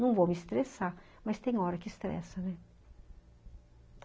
Não vou me estressar, mas tem hora que estressa, né?